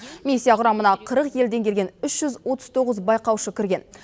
миссия құрамына қырық елден келген үш жүз отыз тоғыз байқаушы кірген